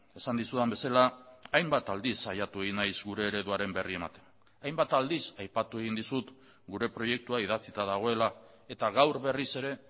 esan dizudan bezala hainbat aldiz saiatu egin naiz gure ereduaren berri ematen hainbat aldiz aipatu egin dizut gure proiektua idatzita dagoela eta gaur berriz ere